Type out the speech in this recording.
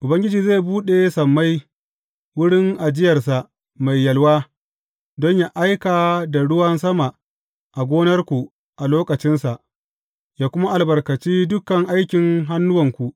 Ubangiji zai buɗe sammai, wurin ajiyarsa mai yalwa, don yă aika da ruwan sama a gonarku a lokacinsa, yă kuma albarkaci dukan aikin hannuwanku.